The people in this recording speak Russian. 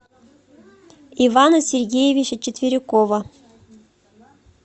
ивана сергеевича четверикова